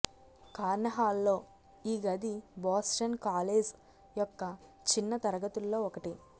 కార్నె హాల్లో ఈ గది బోస్టన్ కాలేజ్ యొక్క చిన్న తరగతుల్లో ఒకటి